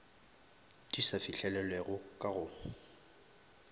di sa fihlelelwego ka go